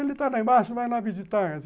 Ele está lá embaixo, vai lá visitar.